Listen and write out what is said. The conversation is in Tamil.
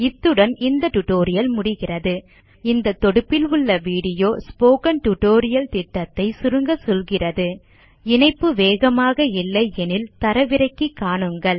இத்துடன் இந்த டியூட்டோரியல் முடிகிறது இந்த தொடுப்பில் உள்ள வீடியோ ஸ்போக்கன் டியூட்டோரியல் திட்டத்தை சுருங்க சொல்கிறது httpspokentutorialorgWhat is a Spoken Tutorial இணைப்பு வேகமாக இல்லை எனில் தரவிறக்கி காணுங்கள்